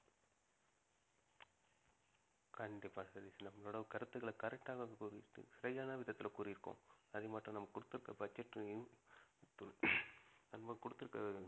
கண்டிப்பா சதீஷ் நம்மளோட கருத்துக்களை correct ஆ தான் கூறியிருக்கோம் சரியான விதத்தில கூறியிருக்கோம் அது மட்டும் நம்ம குடுத்திருக்கிற budget லயும் நம்ம குடுத்திருக்கிற